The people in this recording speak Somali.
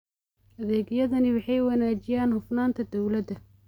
Adeegyadani waxay wanaajiyaan hufnaanta dawladda.